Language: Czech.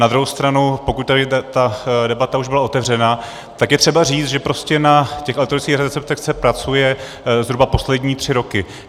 Na druhou stranu pokud tady ta debata už byla otevřena, tak je třeba říct, že prostě na těch elektronických receptech se pracuje zhruba poslední tři roky.